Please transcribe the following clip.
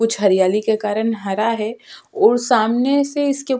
कुछ हरियाली के कारण हरा है और सामने से इसके --